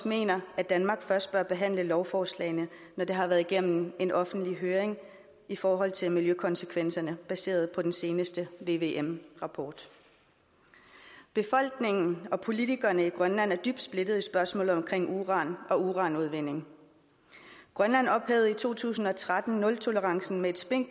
mener at danmark først bør behandle lovforslagene når de har været igennem en offentlig høring i forhold til miljøkonsekvenserne baseret på den seneste vvm rapport befolkningen og politikerne i grønland er dybt splittet i spørgsmålet om uran og uranudvinding grønland ophævede i to tusind og tretten nultolerancepolitikken